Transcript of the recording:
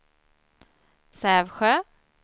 Sävsjö